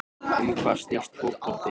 Um hvað snýst fótbolti?